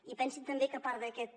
i pensin també que a part d’aquest